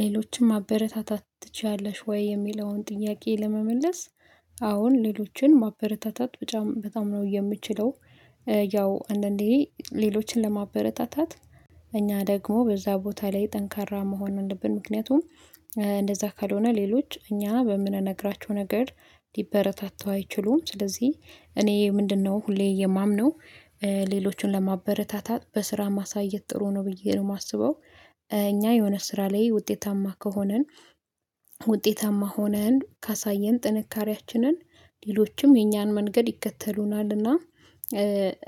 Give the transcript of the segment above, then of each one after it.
ሌሎችን ማበረታታት ትችያለሽ ወይ? የሚለውን ጥያቄ ለመመለስ አሁን ሌሎችን ማበረታታት በጣም ነው የምችለው። ያው አንዳንዴ ሌሎችን ለማበረታታት እኛ ደግሞ በዛ ቦታ ላይ ጠንካራ መሆን አለብን። ምክንያቱም እንደዛ ካልሆነ ሌሎች እኛ በምንነግራቸው ነገር ሊበረታቱ አይችሉም። ስለዚህ እኔ ምንድነው ሁሌ የማምነው ሌሎችን ለማበረታታት በስራ ማሳየት ጥሩ ነው ብዬ ነው የማስበው። እኛ የሆነ ስራ ላይ ውጤታማ ከሆነን ውጤታማ ሆነን ካሳየን ጥንካሬያችንን ሌሎችም የኛን መንገድ ይከተሉናልና።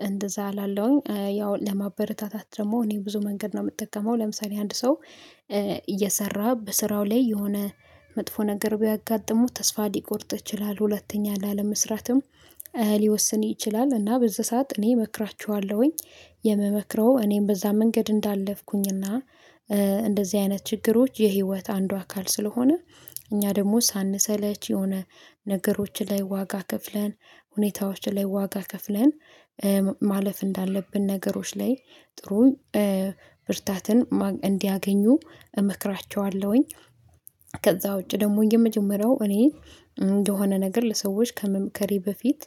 እንደዛ አላለሁኝ ያው ለማበረታታት ደግሞ እኔ ብዙ መንገድ ነው የምጠቀመው። ለምሳሌ አንድ ሰው እየሰራ በስራው ላይ የሆነ መጥፎ ነገር ቢያጋጥሙት ተስፋ ሊቆርጥ ይችላል። ሁለተኛ ላለመስራትም ሊወስን ይችላል እና በዚህ ሰዓት እኔ እመክራችኋለሁኝ። የምመክረው እኔም በዛ መንገድ እንዳለፍኩኝና እንደዚህ አይነት ችግሮች የህይወት አንዱ አካል ስለሆነ እኛ ደግሞ ሳንሰለች የሆነ ነገሮች ላይ ዋጋ ክፍለን ሁኔታዎች ላይ ዋጋ ከፍለን ማለፍ እንዳለብን ነገሮች ላይ ጥሩ ብርታትን እንዲያገኙ እመክራቸዋለሁኝ። ከዛ ውጪ ደግሞ የመጀመሪያው እኔ የሆነ ነገር ለሰዎች ከመምከሬ በፊት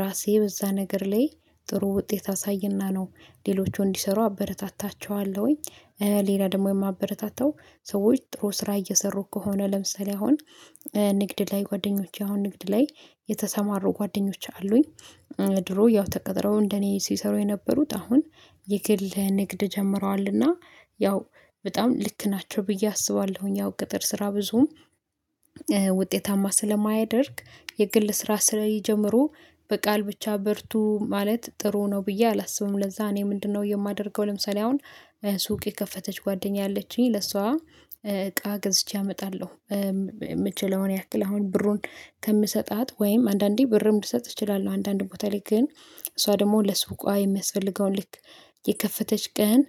ራሴ በዛ ነገር ላይ ጥሩ ውጤት አሳይና ነው ሌሎቹ እንዲሰሩ አበረታታቸዋለሁኝ። ሌላ ደግሞ የማበረታታው ሰዎች ጥሩ ስራ እየሰሩ ከሆነ ለምሳሌ አሁን ንግድ ላይ ጓደኞቼ አሁን ንግድ ላይ የተሰማሩ ጓደኞች አሉኝ። ድሮ ያው ተቀጥረው እንደኔ ሲሰሩ የነበሩት አሁን የግል ንግድ ጀምረዋልና ያው በጣም ልክ ናቸው ብዬ አስባለሁኝ። ያው ቅጥር ስራ ብዙም ውጤታማ ስለማያደርግ የግል ስራ ሲጀምሩ በቃል ብቻ በርቱ ማለት ጥሩ ነው ብዬ አላስብም። ለዛ እኔ ምንድነው የማደርገው ለምሳሌ አሁን ሱቅ የከፈተች ጓደኛ ያለችኝ ለሷ እቃ ገዝቼ አመጣለሁ። የምችለውን ያክል አሁን ብሩን ከምሰጣት ወይም አንዳንዴ ብርም ልሰጥ እችላለሁ አንዳንድ ቦታ ላይ ግን እሷ ደግሞ ለሱቋ የሚያስፈልገውን ልክ የከፈተች ቀን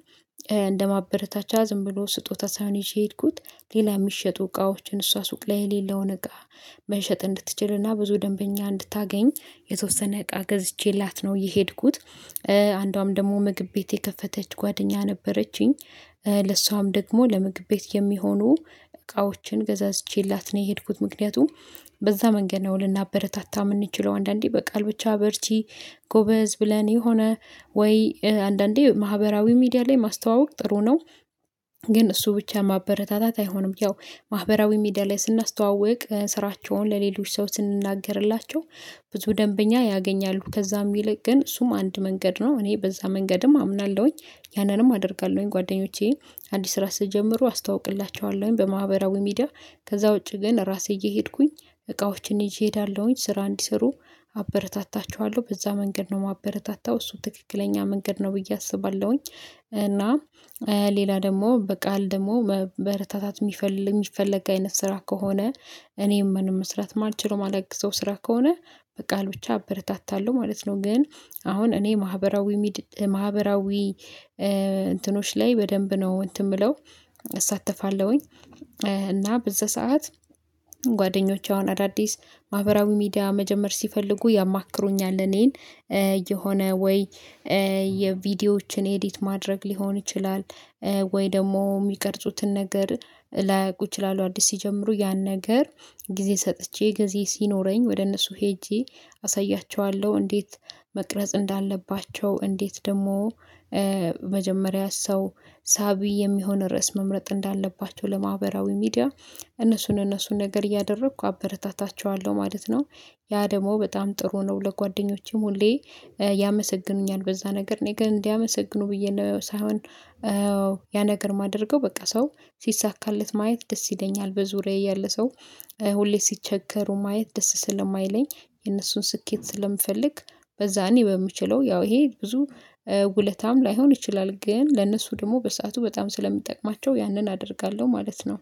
እንደማበረታቻ ዝም ብሎ ስጦታ ሳይሆን ይቺ የሄድኩት ሌላ የሚሸጡ እቃዎችን እሷ ሱቅ ላይ የሌለውን እቃ መሸጥ እንድትችልና ብዙ ደንበኛ እንድታገኝ የተወሰነ እቃ ገዝቼላት ነው የሄድኩት። አንዷም ደግሞ ምግብ ቤት የከፈተች ጓደኛ ነበረችኝ ለሷም ደግሞ ለምግብ ቤት የሚሆኑ እቃዎችን ገዛዝቼላት ነው የሄድኩት ምክንያቱም በዛ መንገድ ነው ልናበረታታ የምንችለው አንዳንዴ በቃል ብቻ በርቺ ጎበዝ ብለን የሆነ ወይ አንዳንዴ ማህበራዊ ሚዲያ ላይ ማስተዋወቅ ጥሩ ነው። ግን እሱ ብቻ ማበረታታት አይሆንም ያው ማህበራዊ ሚዲያ ላይ ስናስተዋውቅ ስራቸውን ለሌሎች ሰው ስንናገርላቸው ብዙ ደንበኛ ያገኛሉ ከዛም ይልቅ ግን እሱም አንድ መንገድ ነው እኔ በዛ መንገድም አምናለሁኝ። ያንንም አደርጋለሁኝ ጓደኞቼን አዲስ ስራ ሲጀምሩ አስተዋውቅላቸዋለሁኝ በማህበራዊ ሚዲያ ከዛ ውጪ ግን ራሴ እየሄድኩኝ እቃዎችን ይዤ እሄዳለሁኝ ስራ እንዲሰሩ አበረታታቸዋለሁ በዛ መንገድ ነው ማበረታታው እሱ ትክክለኛ መንገድ ነው ብዬ አስባለሁኝ። እና ሌላ ደግሞ በቃል ደግሞ በረታታት የሚፈልግ የሚፈልግ አይነት ስራ ከሆነ እኔም ምንም መስራት ማልችለው የማላግዘው ስራ ከሆነ በቃል ብቻ አበረታታለሁ ማለት ነው። ግን አሁን እኔ ማህበራዊ እንትኖች ላይ በደንብ ነው እንትን የምለው እሳተፋለሁኝ እና በዛ ሰዓት ጓደኞቼ አሁን አዳዲስ ማህበራዊ ሚዲያ መጀመር ሲፈልጉ ያማክሩኛል። እኔን የሆነ ወይ የቪዲዮዎችን ኤዲት ማድረግ ሊሆን ይችላል። ወይ ደግሞ የሚቀርጹትን ነገር ላያውቁ ይችላሉ አዲስ ሲጀምሩ ያን ነገር ጊዜ ሰጥቼ ጊዜ ሲኖረኝ ወደ እነሱ ሄጄ አሳያቸዋለሁ እንዴት? መቅረጽ እንዳለባቸው እንዴት ደግሞ መጀመሪያ ሰው ሳቢ የሚሆን ርዕስ መምረጥ እንዳለባቸው ለማህበራዊ ሚዲያ እነሱን እነሱን ነገር እያደረኩ አበረታታቸዋለሁ ማለት ነው ያ ደግሞ በጣም ጥሩ ነው። ለጓደኞቼም ሁሌ ያመሰግኑኛል በዛ ነገር እኔ ግን እንዲያመሰግኑ ብዬ ነው ሳይሆን ያ ነገር ማደርገው በቃ ሰው ሲሳካለት ማየት ደስ ይለኛል። በዙሪያዬ ያለ ሰው ሁሌ ሲቸገሩ ማየት ደስ ስለማይለኝ የነሱን ስኬት ስለምፈልግ በዛ እኔ በምችለው ያው ይሄ ብዙ ውለታም ላይሆን ይችላል ግን ለእነሱ ደግሞ በሰአቱ በጣም ስለሚጠቅማቸው ያንን አደርጋለሁ። ማለት ነው